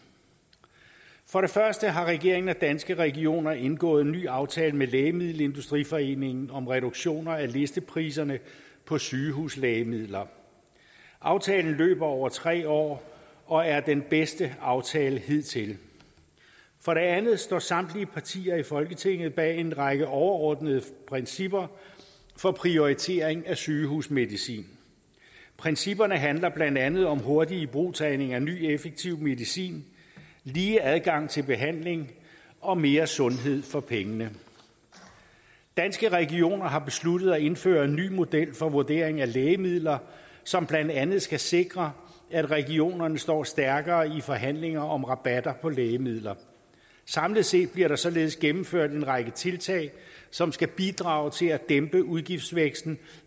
for det første har regeringen og danske regioner indgået en ny aftale med lægemiddelindustriforeningen om reduktion af listepriser på sygehuslægemidler aftalen løber over tre år og er den bedste aftale hidtil for det andet står samtlige partier i folketinget bag en række overordnede principper for prioritering af sygehusmedicin principperne handler blandt andet om hurtig ibrugtagning af ny effektiv medicin lige adgang til behandling og mere sundhed for pengene danske regioner har derudover besluttet at indføre en ny model for vurdering af lægemidler som blandt andet skal sikre at regionerne står stærkere i forhandlinger om rabatter på lægemidler samlet set bliver der således gennemført en række tiltag som skal bidrage til at dæmpe udgiftsvæksten